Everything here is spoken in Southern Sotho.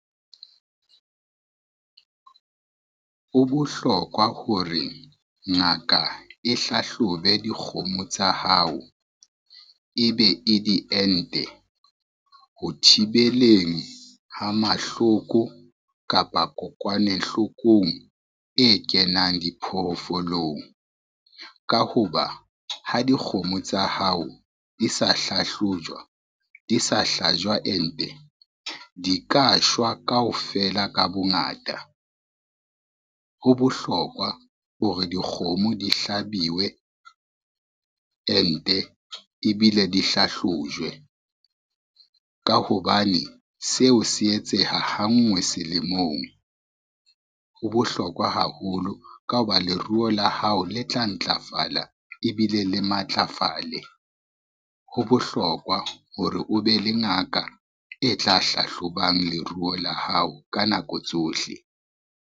Ho bohlokwa hore ngaka e hlahlobe dikgomo tsa hao e be e diente. Ho thibeleng ha mahloko kapa kokwanehlokong e kenang diphoofolong, ka ho ba ha dikgomo tsa hao di sa hlahlojwa, di sa hlajwa ente di ka shwa kaofela ka bongata. Ho bohlokwa hore dikgomo di hlabiwe ente ebile di hlahlojwe, ka hobane seo se etseha ha ngwe selemong. Ho bohlokwa haholo ka ho ba leruo la hao le tla ntlafala ebile le matlafale. Ho bohlokwa hore o be le ngaka e tla hlahlobang leruo la hao ka nako tsohle.